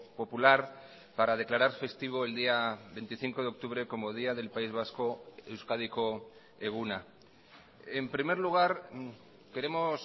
popular para declarar festivo el día veinticinco de octubre como día del país vasco euskadiko eguna en primer lugar queremos